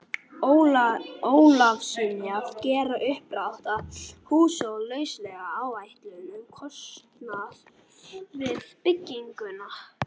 Ólafssyni að gera uppdrátt að húsinu og lauslega áætlun um kostnað við bygginguna.